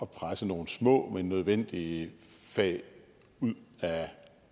presse nogle små men nødvendige fag ud af